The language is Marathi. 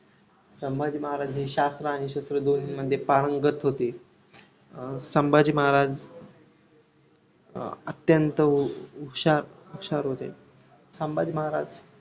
मग ते चालू करायचं घरी जवळजवळ दोन-तीन बायकांना सांगायचं काम करायला आता असं समजा ते बायका घरी पण लावले तर दिवसाला काय शंभर दोनशे रुपये देऊन चपात्या करतात ना.